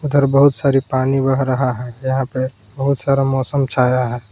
उधर बहुत सारी पानी बह रहा है यहां पे बहुत सारा मौसम छाया है।